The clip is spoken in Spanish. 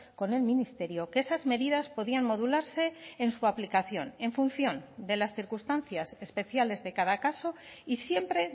con el ministerio que esas medidas podían modularse en su aplicación en función de las circunstancias especiales de cada caso y siempre